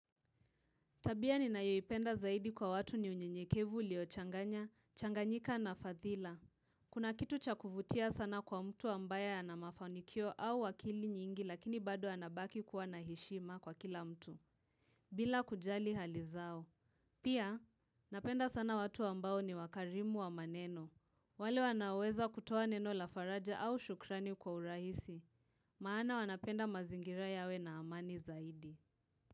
Tabia ninayoipenda zaidi kwa watu ni unyenyekevu uliochanganya, changanyika na fathila. Kuna kitu cha kuvutia sana kwa mtu ambaye ana mafanikio au akili nyingi lakini bado anabaki kuwa na heshima kwa kila mtu. Bila kujali hali zao. Pia, napenda sana watu ambao ni wakarimu wa maneno. Wale wanaoweza kutuwa neno la faraja au shukrani kwa urahisi. Maana wanapenda mazingira yawe na amani zaidi.